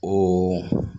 O